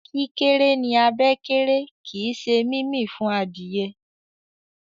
kíkéré ní abẹ́ kéré kín ṣe mímí fún Adìyẹ.